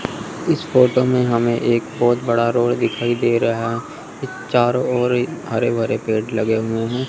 इस फोटो में हमें एक बहोत बड़ा रोड दिखाई दे रहा है। चारो ओर हरे-भरे पेड़ लगे हुए हैं।